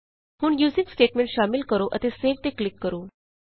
ਹੁਣ using statement ਸ਼ਾਮਿਲ ਕਰੋ ਅਤੇ ਸੇਵ ਤੇ ਕਲਿਕ ਕਰੋ